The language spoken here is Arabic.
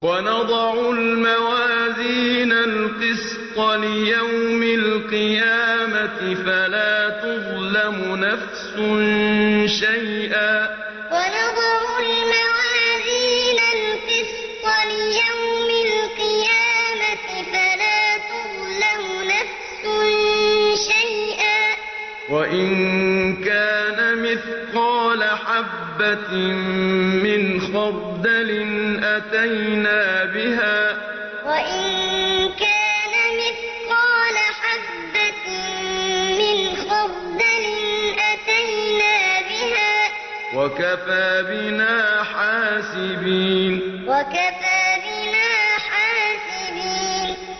وَنَضَعُ الْمَوَازِينَ الْقِسْطَ لِيَوْمِ الْقِيَامَةِ فَلَا تُظْلَمُ نَفْسٌ شَيْئًا ۖ وَإِن كَانَ مِثْقَالَ حَبَّةٍ مِّنْ خَرْدَلٍ أَتَيْنَا بِهَا ۗ وَكَفَىٰ بِنَا حَاسِبِينَ وَنَضَعُ الْمَوَازِينَ الْقِسْطَ لِيَوْمِ الْقِيَامَةِ فَلَا تُظْلَمُ نَفْسٌ شَيْئًا ۖ وَإِن كَانَ مِثْقَالَ حَبَّةٍ مِّنْ خَرْدَلٍ أَتَيْنَا بِهَا ۗ وَكَفَىٰ بِنَا حَاسِبِينَ